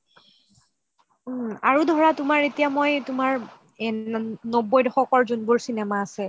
আৰু ধৰা তোমাৰ এতিয়া মই তোমাৰ নবৈ দশকৰ যিবোৰ cinema আছে